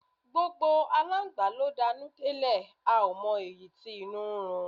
Gbógbó àlángba lo danú delẹ, a o mo eyi tí inú rún